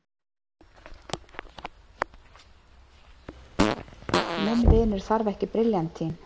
Minn vinur þarf ekki briljantín.